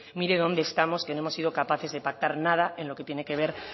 mire dónde estamos que no hemos sido capaces de pactar nada en lo que tiene que ver